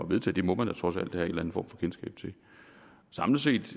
vedtage det må man da trods alt have en form for kendskab til samlet set